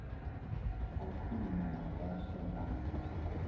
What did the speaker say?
ha khwine ha vhaswa na